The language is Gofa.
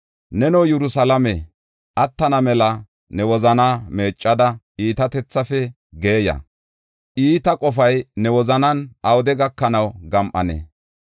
“Neno Yerusalaame, attana mela ne wozanaa meeccada iitatethaafe geeya. Iita qofay ne wozanan awude gakanaw gam7anee?